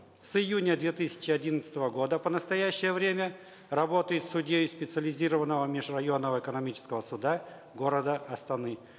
с июня две тысячи одиннадцатого года по настоящее время работает судьей специализированного межрайонного экономического суда города астаны